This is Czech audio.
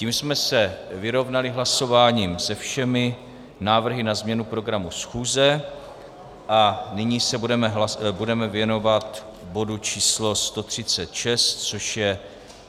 Tím jsme se vyrovnali hlasováním se všemi návrhy na změnu programu schůze a nyní se budeme věnovat bodu č. 136, což je